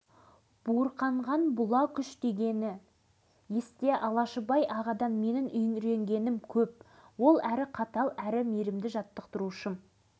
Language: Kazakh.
сол кезең туралы оның алмат байділдаев деген бір шәкірті бұдан бірнеше жыл бұрын былай деп естелік жазыпты